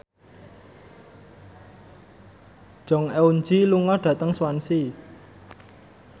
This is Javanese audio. Jong Eun Ji lunga dhateng Swansea